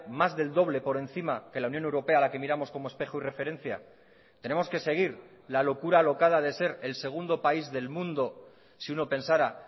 más del doble por encima que la unión europea a la que miramos como espejo y referencia tenemos que seguir la locura alocada de ser el segundo país del mundo si uno pensara